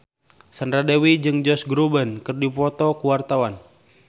Sandra Dewi jeung Josh Groban keur dipoto ku wartawan